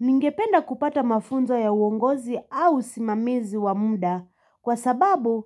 Ningependa kupata mafunzo ya uongozi au usimamizi wamda kwa sababu